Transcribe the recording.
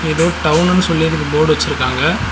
எதோ டவுன்னு சொல்லி இதுக்கு போர்டு வச்சிருக்காங்க.